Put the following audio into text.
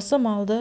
осы малды